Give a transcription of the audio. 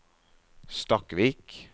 Stakkvik